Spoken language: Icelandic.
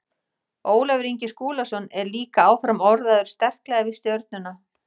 Ólafur Ingi Skúlason er líka áfram orðaður sterklega við Stjörnuna.